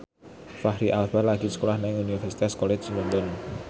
Fachri Albar lagi sekolah nang Universitas College London